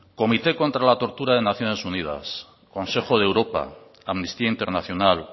comité contra la tortura de naciones unidas consejo de europa amnistía internacional